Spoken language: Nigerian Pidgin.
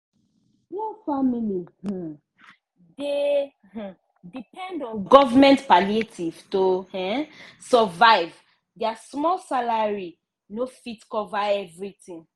poor family um dey um depend on govt palliative to um survive! dia small salary no fit cover everytin.